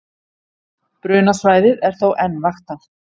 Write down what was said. Brunasvæðið er þó enn vaktað